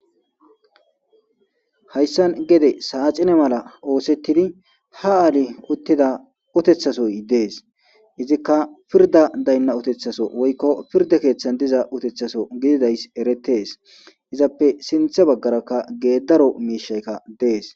Hayssan gede saaxine mala oosettidi ha aali uttida uteththasoy dees izikka pirda daynna uteththaso woykko pirda keeththan diza uteththaso gididays eretees izappe sinthe baggarakka geeddaro miishaykka dees.